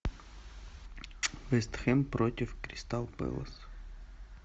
вест хэм против кристал пэлас